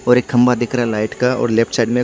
और एक खंभा दिख रहा है लाइट का और लेफ्ट साइड में--